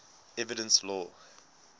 evidence law